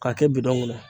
K'a kɛ bidɔn kɔnɔ